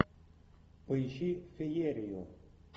поищи феерию